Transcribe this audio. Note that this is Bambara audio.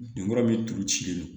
Binkura min turu cilen don